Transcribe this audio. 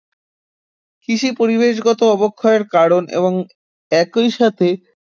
কৃষি পরিবেশগত অবক্ষয়ের কারণ এবং একই সাথে